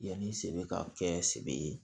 Yanni sɛbɛ ka kɛ sebe ye